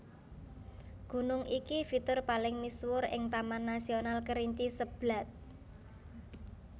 Gunung iki fitur paling misuwur ing Taman Nasional Kerinci Seblat